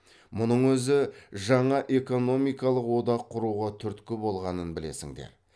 мұның өзі жаңа экономикалық одақ құруға түрткі болғанын білесіңдер